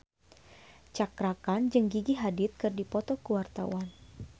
Cakra Khan jeung Gigi Hadid keur dipoto ku wartawan